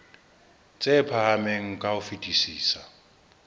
tse phahameng ka ho fetisisa